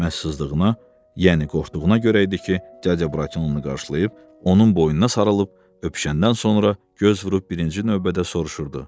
Məhz sızdığına, yəni qorxduğuna görə idi ki, cəcə bratu onu qarşılayıb, onun boynuna sarılıb öpüşəndən sonra göz vurub birinci növbədə soruşurdu: